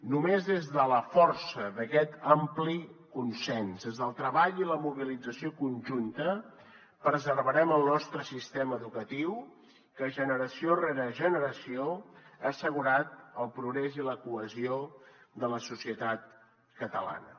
només des de la força d’aquest ampli consens des del treball i la mobilització conjunta preservarem el nostre sistema educatiu que generació rere generació ha assegurat el progrés i la cohesió de la societat catalana